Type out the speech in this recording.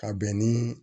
Ka bɛn ni